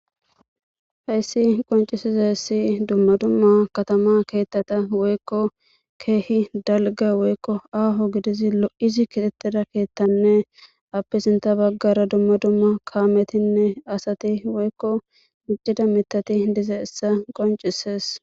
Hayssi qonc'isizaysi duma duma katama ketata woyko keehi dalga woyko aho gidizi lo'izi kixettida kethatanne appe sinta baggara duma duma kametinne asati woyko mic'c'da mitati dizayssa qonc'ises.